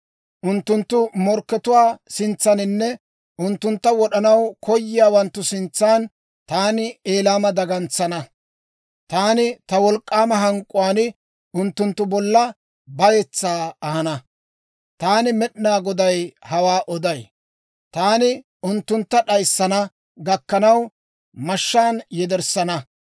Unttunttu morkkatuwaa sintsaaninne unttuntta wod'anaw koyiyaawanttu sintsan taani Elaama dagantsana. Taani ta wolk'k'aama hank'k'uwaan unttunttu bolla bayetsaa ahana. Taani Med'inaa Goday hawaa oday. Taani unttuntta d'ayissana gakkanaw, mashshaan yederssana.